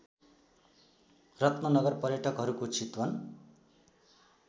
रत्ननगर पयर्टकहरूको चितवन